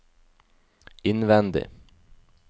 innvendig